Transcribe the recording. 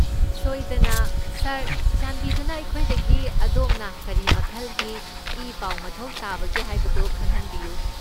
ꯁꯣꯏꯗꯅ, ꯁꯥꯔ! ꯆꯥꯟꯕꯤꯗꯨꯅ ꯑꯩꯈꯣꯏꯗꯒꯤ ꯑꯗꯣꯝꯅ ꯀꯔꯤ ꯃꯈꯜꯒꯤ ꯏꯄꯥꯎ ꯃꯊꯧ ꯇꯥꯕꯒꯦ ꯍꯥꯏꯕꯗꯨ ꯈꯪꯍꯟꯕꯤꯌꯨ꯫